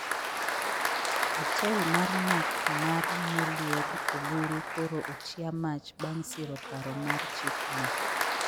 Otel mar math mar Moluor oburu koro otia mach bang siro paro mar chik no